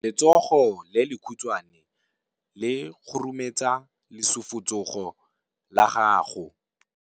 Letsogo le lekhutshwane le khurumetsa lesufutsogo la gago.